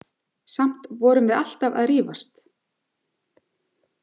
Samt vorum við alltaf að rífast.